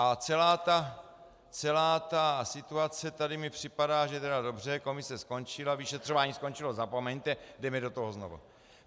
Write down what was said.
A celá ta situace tady mi připadá, že tedy dobře, komise skončila, vyšetřování skončilo, zapomeňte, jdeme do toho znova.